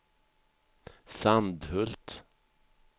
Sandhult